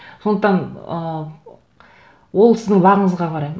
сондықтан ыыы ол сіздің уақытыңызға қарай